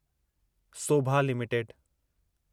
Sobha limited